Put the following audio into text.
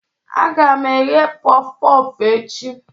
Aga m eghe pọf pọf echi.